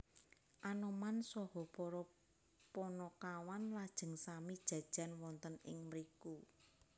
Anoman saha para Panakawan lajeng sami jajan wonten ing mriku